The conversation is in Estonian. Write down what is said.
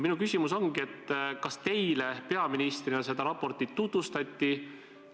Minu küsimus ongi: kas teile kui peaministrile seda raportit tutvustati?